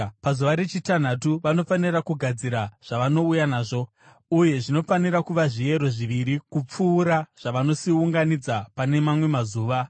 Pazuva rechitanhatu vanofanira kugadzira zvavanouya nazvo, uye zvinofanira kuva zviyero zviviri kupfuura zvavanosiunganidza pane mamwe mazuva.”